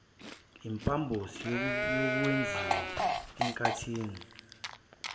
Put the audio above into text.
impambosi yokwenziwa enkathini